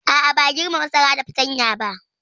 A'a, ba a girbe masara da fatanya ba.